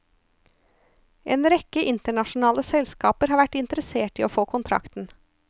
En rekke internasjonale selskaper har vært interessert i å få kontrakten.